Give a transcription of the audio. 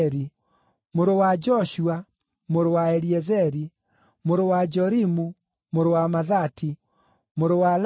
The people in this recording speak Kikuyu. mũrũ wa Joshua, mũrũ wa Eliezeri, mũrũ wa Jorimu, mũrũ wa Mathati, mũrũ wa Lawi,